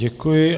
Děkuji.